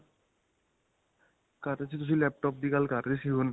ਕਰ ਰਿਹਾ ਸੀ ਤੁਸੀਂ laptop ਦੀ ਗੱਲ ਕਰ ਰਹੇ ਸੀ ਹੁਣ.